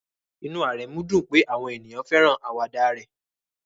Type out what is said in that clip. Inú Aremu dùn pé àwọn ènìyàn fẹ́ràn àwàdà rẹ̀